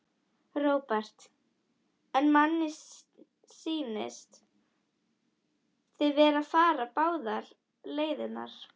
Róbert: En manni sýnist þið vera að fara báðar leiðirnar?